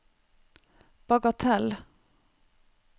bagatell